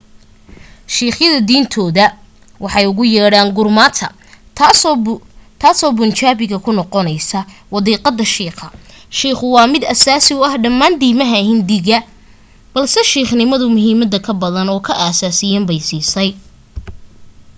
siikhyadu diintooda waxay ugu yeedhaan gurmata taasoo bunjaabiga ku noqonaysa wadiiqada shiikha”. shiikhu waa mid asaasi u ah dhammaan diiimaha hindiya balse siikhnimadu muhiimada ka badan oo ka asaasisan bay siisay